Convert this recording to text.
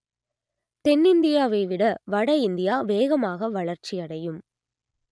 தென்னிந்தியாவை விட வடஇந்தியா வேகமாக வளர்ச்சியடையும்